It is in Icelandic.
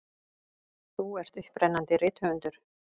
Þú ert upprennandi rithöfundur.